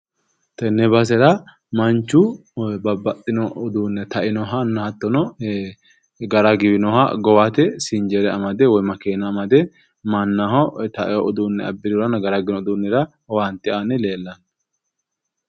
Tenne basera manchu babbaxxino uduunne tainohanna hattono gara giwinoha gowate sinjere amade woyi makeena amade mannaho taiwo uduunne abbirihuranna gara giwino uduunnira owaante aanni leellanno.